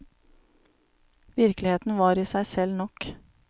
Virkeligheten var i seg selv nok.